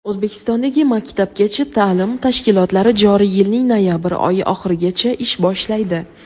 O‘zbekistondagi maktabgacha ta’lim tashkilotlari joriy yilning noyabr oyi oxirigacha ish boshlaydi.